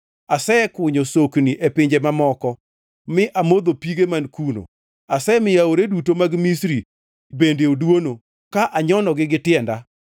Asekunyo sokni e pinje mamoko mi amodho pige man kuno. Asemiyo aore duto mag Misri bende oduono ka anyonogi gi tienda.’